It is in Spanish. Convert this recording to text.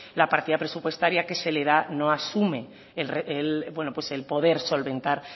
la partida presupuestaria que se le da no asume el poder solventar